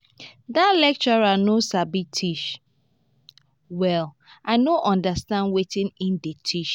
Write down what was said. dat lecturer no sabi teach well i no understand wetin he dey teach